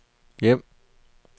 hjem